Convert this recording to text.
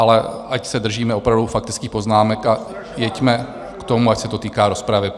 Ale ať se držíme opravdu faktických poznámek, a jeďme k tomu, ať se to týká rozpravy.